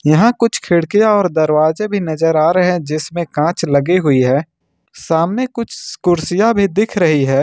यहां कुछ खिड़कियां और दरवाजे भी नजर आ रहे है जिसमें कांच लगी हुई है सामने कुछ कुर्सियां भी दिख रही है।